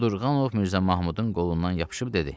Qudurqanov Mirzə Mahmudun qolundan yapışıb dedi: